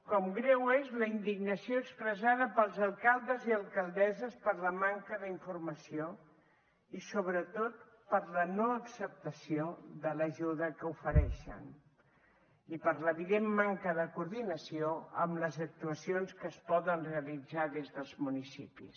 com greu és la indignació expressada pels alcaldes i alcaldesses per la manca d’informació i sobretot per la no acceptació de l’ajuda que ofereixen i per l’evident manca de coordinació en les actuacions que es poden realitzar des dels municipis